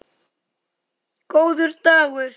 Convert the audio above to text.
Góður dagur!